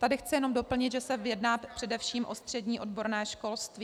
Tady chci jenom doplnit, že se jedná především o střední odborné školství.